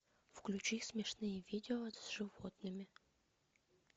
включи смешные видео с животными